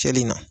Cɛli in na